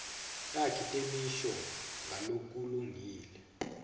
takhi temisho ngalokulungile